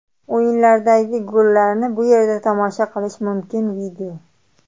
O‘yinlardagi gollarni bu yerda tomosha qilish mumkin video .